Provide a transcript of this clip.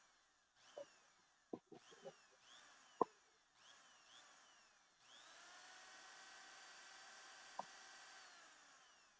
Haltu áfram, sláðu mig líka, æfðu þig dálítið.